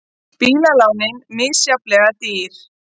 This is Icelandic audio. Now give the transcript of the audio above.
Bílalánin misjafnlega dýr